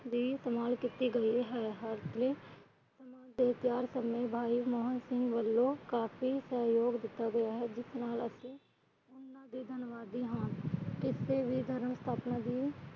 ਵੀ ਇਸਤੇਮਾਲ ਕੀਤੀ ਗਈ ਹੈ। ਕਾਹਨ ਸਿੰਘ ਵਲੋਂ ਕਾਫੀ ਸਹਿਯੋਗ ਦਿੱਤਾ ਗਿਆ ਹੈ।